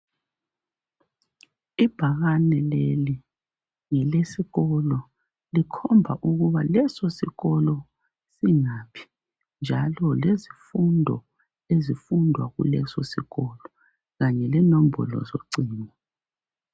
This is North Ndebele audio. Ibhakane leli ngelesikolo likhomba ukuba leso sikolo singaphi njalo lezifundo ezifundwa kulesosikolo kanye lenombolo yocingo